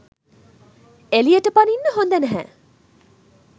එළියට පනින්න හොඳ නැහැ.